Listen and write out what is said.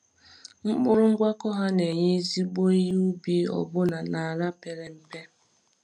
Mkpụrụ ngwakọ ha na-enye ezigbo ihe ubi ọbụna n’ala pere mpe.